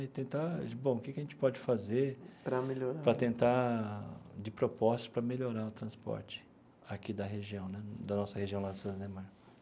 E tentar, bom, o que que a gente pode fazer. Para melhorar. Para tentar, de proposta, para melhorar o transporte aqui da região né, da nossa região lá da cidade Ademar.